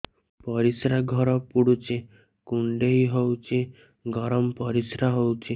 ପରିସ୍ରା ଘର ପୁଡୁଚି କୁଣ୍ଡେଇ ହଉଚି ଗରମ ପରିସ୍ରା ହଉଚି